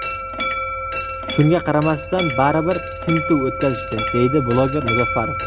Shunga qaramasdan baribir tintuv o‘tkazishdi”, deydi bloger Muzaffarov.